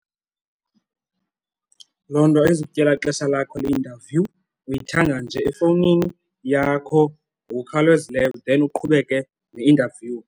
Loo nto ayizukutyela xesha lakho le-interview, uyithenga nje efowunini yakho ngokukhawulezileyo then uqhubeke ne-interview.